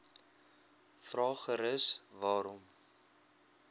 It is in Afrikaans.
vra gerus waarom